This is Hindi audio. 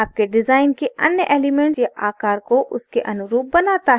आपके डिजाइन के अन्य एलिमेंट या आकार को उसके अनुरूप बनाता है